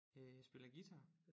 Øh jeg spiller guitar